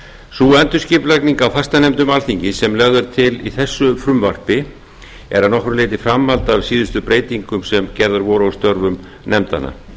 sú endurskipulagning á fastanefndum alþingis sem lögð er til í þessu frumvarpi er að nokkru leyti framhald af síðustu breytingum sem gerðar voru á störfum nefndanna